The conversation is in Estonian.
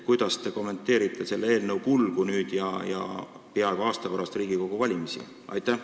Kuidas te kommenteerite selle eelnõu kulgu nüüd ja peaaegu aasta pärast Riigikogu valimisi?